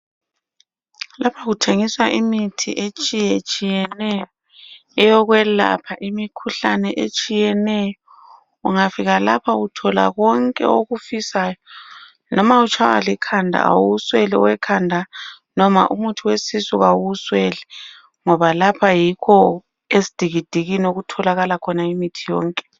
Lapha kuthengiswa imithi etshiyetshiyeneyo eyokwelapha imikhuhlane etshiyeneyo, ungafika lapha uthola konke okufisayo noma utshaya likhanda awusweli owekhanda noma umuthi wesisu awuwusweli ngoba lapha yikho esidikidikini okutholakala imithi yonke.